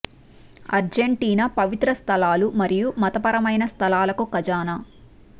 Argentina పవిత్ర స్థలాలు మరియు మతపరమైన స్థలాలకు ఖజానా